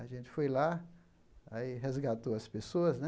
A gente foi lá, aí resgatou as pessoas, né?